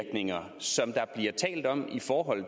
får